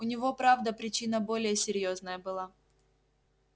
у него правда причина более серьёзная была